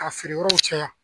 Ka feere yɔrɔw caya